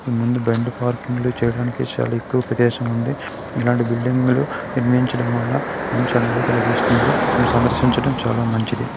ముందు బండి పార్కింగ్ లు చేయడానికి చాల ఎక్కువ పిటేషన్ వుంది ఇలాంటి బిల్డింగ్ నిర్మించడం వల్ల ఆలోచించడం చాల మంచిది.